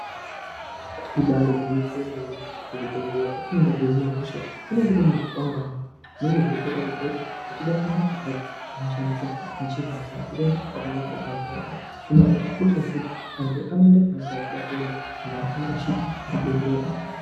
Ibaari gwinyiso yemene muzvibhedhlera petinoenda koohinwe hosha kunenge kutori nezvikwangwari zvinenge zveitoratidza kuti uchida kuenda kwakati unoshandisa njira yakati uchida kuende kwakati unoshandisa gwanzi rakati , izvi zvakakosha ngekuti antu anoenda kwaanonga echida kuenda endi avarashiki zvibhedhlera.